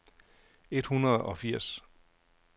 et hundrede og firs